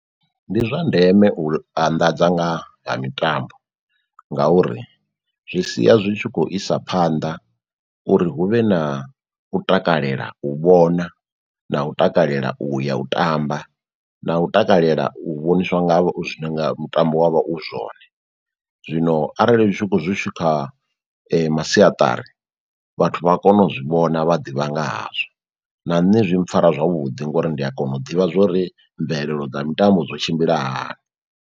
Ndi zwa ndeme u anḓadza nga ha mitambo ngauri zwi sia zwi tshi khou isa phanḓa uri huvhe na u takalela u vhona na u takalela u ya u tamba na u takalela u vhoniswa nga havho mutambo wa vha u zwone. Zwino arali kha masiaṱari vhathu vha kono u zwi vhona vha ḓivha nga hazwo, na nṋe zwi mpfara zwavhuḓi ngori ndi a kona u ḓivha zwori mvelelo dza mitambo dzo tshimbila hani.